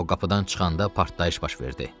O qapıdan çıxanda partlayış baş verdi.